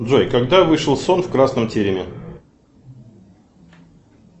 джой когда вышел сон в красном тереме